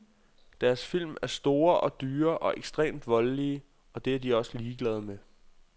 Deres film er store og dyre og ekstremt voldelige, og det er de også ligeglade med.